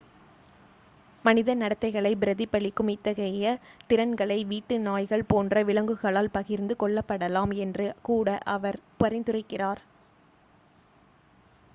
மனித நடத்தைகளை பிரதிபலிக்கும் இத்தகைய திறன்களை வீட்டு நாய்கள் போன்ற விலங்குகளால் பகிர்ந்து கொள்ளப்படலாம் என்று கூட அவர் பரிந்துரைக்கிறார்